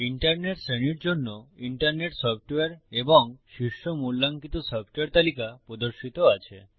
internet শ্রেণীর জন্য internet software এবং শীর্ষ মূল্যাঙ্কিত সফ্টওয়্যার তালিকা প্রদর্শিত আছে